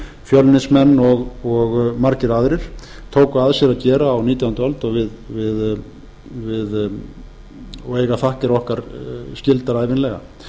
fjölnismenn og margir aðrir tóku að sér að gera á nítjándu öld og eiga þakkir okkar skildar ævinlega